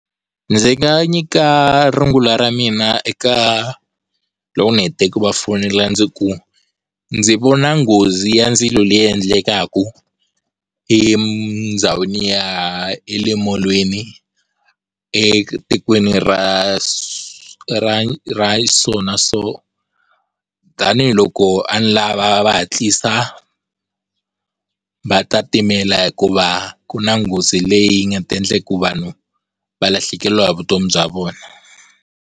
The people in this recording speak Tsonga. Ndzi nga nyika rungula ra mina eka loko ndzi hete ku va fonela ndzi ku, ndzi vona nghozi ya ndzilo leyi endlekaku endhawini ya le molweni etikweni ra ra ra so na so tanihiloko a ni lava va hatlisa va ta timela hikuva ku nghozi leyi nga ta endla ku vanhu va lahlekeriwa hi vutomi bya vona.